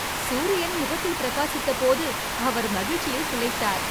சூரியன் முகத்தில் பிரகாசித்தபோது அவர் மகிழ்ச்சியில் திளைத்தார்.